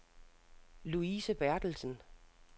Louise Berthelsen